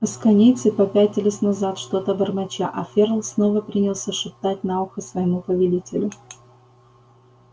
асконийцы попятились назад что-то бормоча а ферл снова принялся шептать на ухо своему повелителю